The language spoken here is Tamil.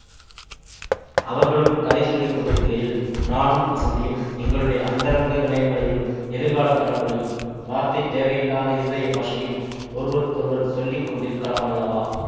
அவர்களும் கதை சொல்லி கொண்டிருக்கையில் நானும் வஸந்தியும் எங்களுடைய அந்தரங்க நினைவுகளையும் எதிர்கால கனவுகளையும் வார்த்தை தேவையில்லாத இருதய பாஷையில் ஒருவருக்கொருவர் சொல்லி கொண்டிருக்கலாமல்லவா